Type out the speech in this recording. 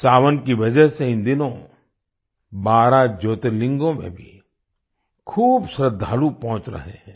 सावन की वजह से इन दिनों 12 ज्योतिर्लिंगों में भी खूब श्रद्धालु पहुँच रहे हैं